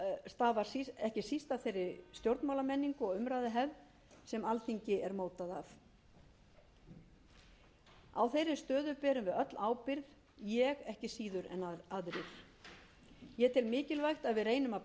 stafar ekki síst af þeirri stjórnmálamenningu og umræðuhefð sem alþingi er mótað af á þeirri stöðu berum við öll ábyrgð ég ekki síður en aðrir ég tel mikilvægt að við reynum að